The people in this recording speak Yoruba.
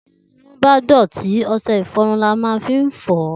Tí irun bá dọ̀tí, ọṣẹ-ìfọrun ni a ó fi fọ̀ ọ́